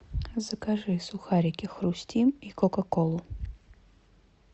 закажи сухарики хрустим и кока колу